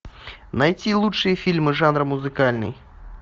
найти лучшие фильмы жанра музыкальный